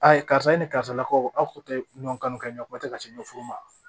A ye karisa e ni karisalakaw aw tun tɛ ɲɔn kan ɲɛ ko tɛ ka se ɲɛfu ma